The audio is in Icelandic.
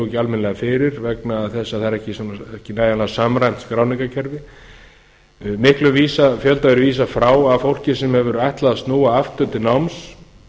ekki almennilega fyrir vegna þess að það er ekki nægjanlega samræmt skráningarkerfið miklum fjölda hefur verið vísað frá af fólki sem hefur ætlað að snúa aftur til náms